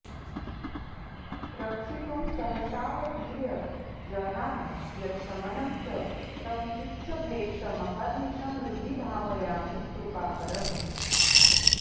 रक्षितुं सहसावतीर्य जघान यच्छमनं च तं चित्सभेशमहर्निशं हृदि भावयामि कृपाकरम्